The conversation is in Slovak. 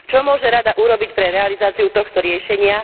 Čo môže Rada urobiť pre realizáciu tohto riešenia?